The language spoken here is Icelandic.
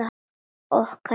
Okkar menn